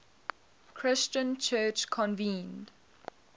christian church convened